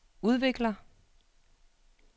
udvikler